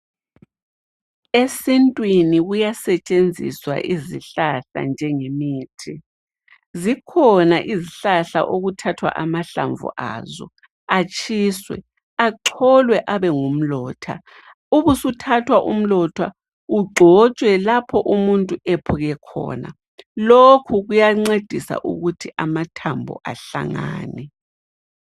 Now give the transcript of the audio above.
Esintwini kuya setshenziswa izihlahla njengemithi. Zikhona izihlahla okuthathwa amahlamvu azo atshiswe acholwe abengumlotha ubusuthathwa umlotha ugcotshwe lapho umuntu ephuke khona lokhu kuyancedisa ukuthi amathambo ahlangane.